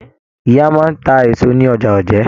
Ìyá máa n tá èso ní ọjà Òjé.